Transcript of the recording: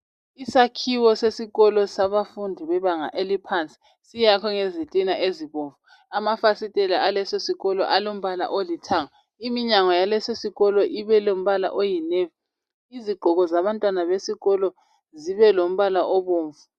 Isakhiwo sesikolo sabafundi bebanga eliphansi siyakhwe ngezitina ezibomvu amafasitela alesisikolo alithanga iminyango yalesi sikolo ilombala oyi navy izigqoko zabantwana besikolo zilombala obomvu.